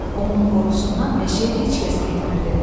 Onun qorxusundan meşəyə heç kəs getmirdi.